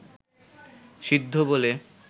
সিদ্ধ বলে